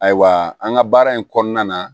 Ayiwa an ka baara in kɔnɔna na